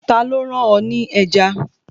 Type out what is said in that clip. Ta ló rán ọ ní ẹja